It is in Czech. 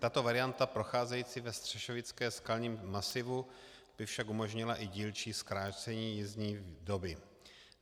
Tato varianta procházející ve střešovickém skalním masivu by však umožnila i dílčí zkrácení jízdní doby.